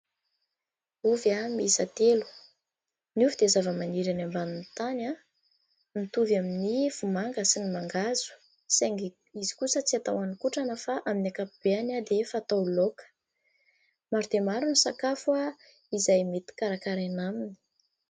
Ovy miisa telo. Ny ovy dia zavamaniry any ambanin'ny tany, mitovy amin'ny vomanga sy ny mangahazo saingy izy kosa tsy atao haninkotrana fa amin'ny ankapobeny dia fatao laoka. Maro dia maro ny sakafo izay mety karakaraina aminy.